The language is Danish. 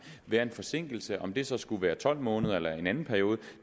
være en forsinkelse om det så skulle være tolv måneder eller en anden periode